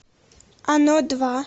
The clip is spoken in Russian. оно два